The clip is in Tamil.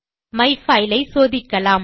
மைஃபைல் ஐ சோதிக்கலாம்